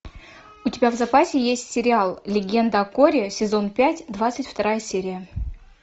у тебя в запасе есть сериал легенда о корре сезон пять двадцать вторая серия